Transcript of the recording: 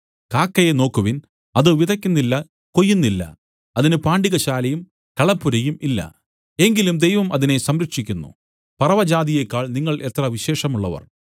കാക്കയെ നോക്കുവിൻ അത് വിതയ്ക്കുന്നില്ല കൊയ്യുന്നില്ല അതിന് പാണ്ടികശാലയും കളപ്പുരയും ഇല്ല എങ്കിലും ദൈവം അതിനെ സംരക്ഷിക്കുന്നു പറവജാതിയേക്കാൾ നിങ്ങൾ എത്ര വിശേഷമുള്ളവർ